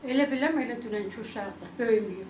Elə bilərəm elə dünənki uşaqdır, böyüməyib.